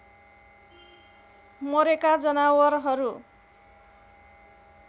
मरेका जनावरहरू